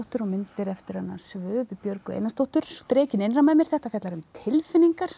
og myndir eftir hana Björgu Einarsdóttur Drekinn innra með mér þetta fjallar um tilfinningar